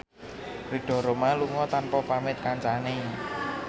Ridho Roma lunga tanpa pamit kancane